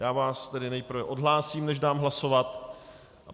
Já vás tedy nejprve odhlásím, než dám hlasovat.